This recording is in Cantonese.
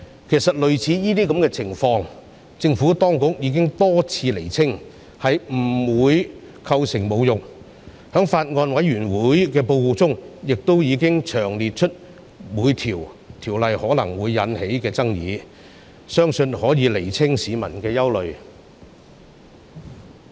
其實政府當局已多次釐清類似情況不會構成侮辱國歌，而法案委員會報告亦詳細釐清了各項條文可能會引起的爭議，相信可以釋除市民的憂慮。